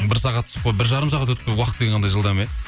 бір сағат бір жарым сағат уақыт қандай жылдам иә